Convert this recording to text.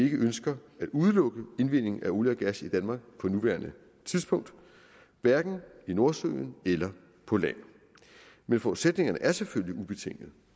ønsker at udelukke indvinding af olie og gas i danmark på nuværende tidspunkt hverken i nordsøen eller på land men forudsætningerne er selvfølgelig ubetinget